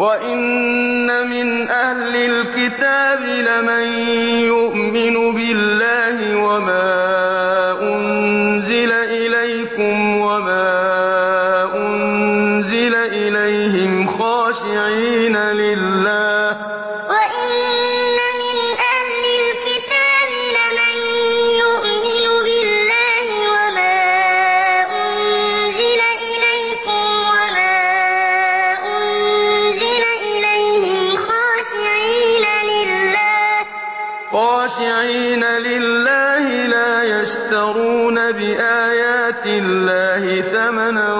وَإِنَّ مِنْ أَهْلِ الْكِتَابِ لَمَن يُؤْمِنُ بِاللَّهِ وَمَا أُنزِلَ إِلَيْكُمْ وَمَا أُنزِلَ إِلَيْهِمْ خَاشِعِينَ لِلَّهِ لَا يَشْتَرُونَ بِآيَاتِ اللَّهِ ثَمَنًا